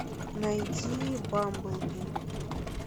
найди бамблби